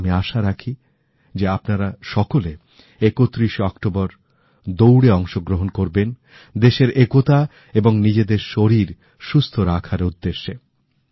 আমি আশা রাখি যে আপনারা সকলে 31 শে অক্টোবর দৌড়ে অংশগ্রহণ করবেন দেশের একতা এবং নিজেদের শরীর সুস্থ রাখার উদ্দেশ্যে